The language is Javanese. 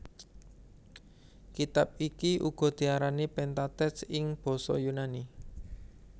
Kitab iki uga diarani Pentateuch ing basa Yunani